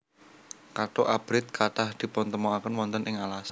Katuk abrit kathah dipuntêmokakên wontên ing alas